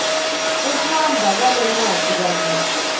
kuhamba kwalencwadzi kanye